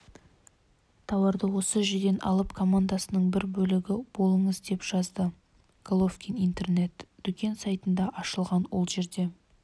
тауарды осы жерден алып комнадасының бір бөлігі болыңыз деп жазды головкин интернет-дүкен сайтында ашылған ол жерде